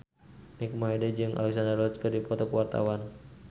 Mike Mohede jeung Alexandra Roach keur dipoto ku wartawan